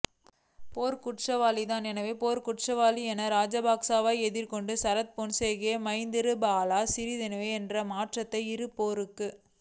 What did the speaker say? போர்க்குற்றவாளிதான் எனவே போர்க்குற்றவாளி என ராஜபக்சவை எதிர்த்துக் கொணடு சரத் பொன்சேக மைத்திரிபால சிறிசேன என்ற மற்றைய இரு போர்க்